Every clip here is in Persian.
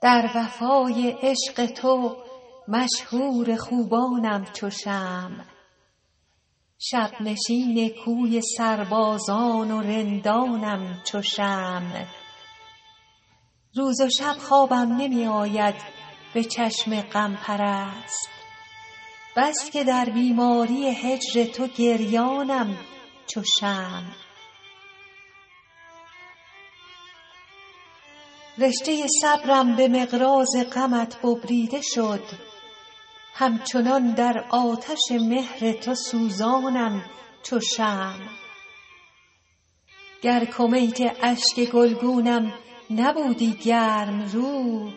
در وفای عشق تو مشهور خوبانم چو شمع شب نشین کوی سربازان و رندانم چو شمع روز و شب خوابم نمی آید به چشم غم پرست بس که در بیماری هجر تو گریانم چو شمع رشته صبرم به مقراض غمت ببریده شد همچنان در آتش مهر تو سوزانم چو شمع گر کمیت اشک گلگونم نبودی گرم رو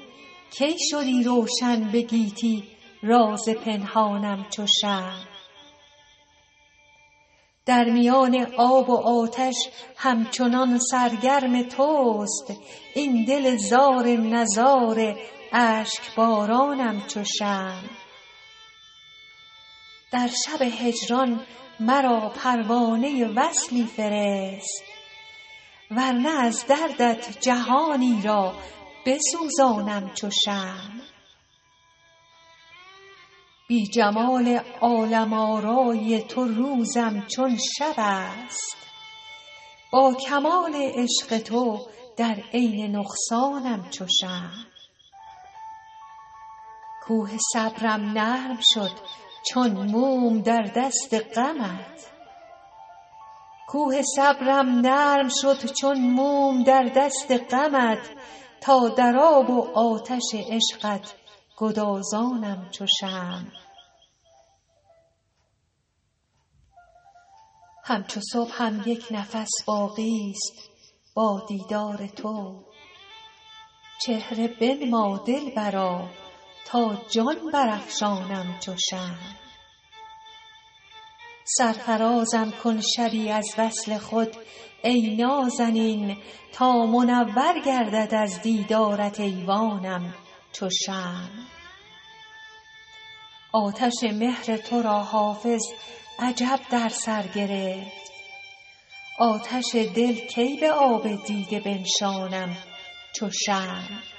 کی شدی روشن به گیتی راز پنهانم چو شمع در میان آب و آتش همچنان سرگرم توست این دل زار نزار اشک بارانم چو شمع در شب هجران مرا پروانه وصلی فرست ور نه از دردت جهانی را بسوزانم چو شمع بی جمال عالم آرای تو روزم چون شب است با کمال عشق تو در عین نقصانم چو شمع کوه صبرم نرم شد چون موم در دست غمت تا در آب و آتش عشقت گدازانم چو شمع همچو صبحم یک نفس باقی ست با دیدار تو چهره بنما دلبرا تا جان برافشانم چو شمع سرفرازم کن شبی از وصل خود ای نازنین تا منور گردد از دیدارت ایوانم چو شمع آتش مهر تو را حافظ عجب در سر گرفت آتش دل کی به آب دیده بنشانم چو شمع